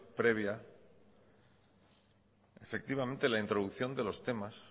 previa efectivamente la introducción de los temas